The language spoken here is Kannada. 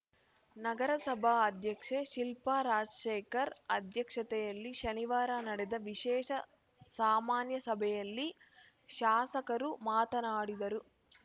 ನಗರಸಭಾ ಅಧ್ಯಕ್ಷೆ ಶಿಲ್ಪಾ ರಾಜಶೇಖರ್‌ ಅಧ್ಯಕ್ಷತೆಯಲ್ಲಿ ಶನಿವಾರ ನಡೆದ ವಿಶೇಷ ಸಾಮಾನ್ಯಸಭೆಯಲ್ಲಿ ಶಾಸಕರು ಮಾತನಾಡಿದರು